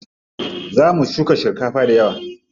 Za mu shuka shinkafa dayawa.